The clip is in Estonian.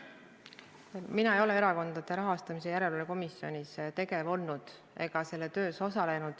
Mina ei ole Erakondade Rahastamise Järelevalve Komisjonis tegev olnud ega selle töös osalenud.